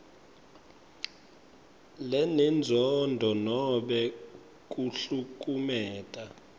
lenenzondo nobe kuhlukumeta